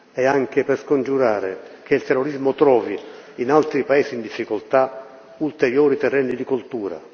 e anche per scongiurare che il terrorismo trovi, in altri paesi in difficoltà, ulteriori terreni di coltura.